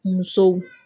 Musow